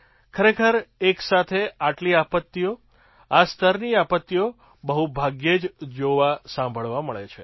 ખરેખર એક સાથે આટલી આપત્તિઓ આ સ્તરની આપત્તિઓ બહુ ભાગ્યે જ જોવાસાંભળવા મળે છે